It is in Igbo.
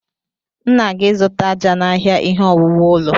M na-aga ịzụta àjà n'ahịa ihe owuwu ụlọ.